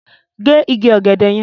Gé igi ọ̀gẹ̀dẹ̀ yẹn!